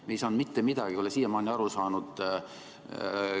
Me ei saanud mitte midagi aru, ei ole siiamaani aru saanud.